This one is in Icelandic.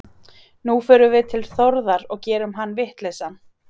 Nú förum við til Þórðar og gerum hann vitlausan.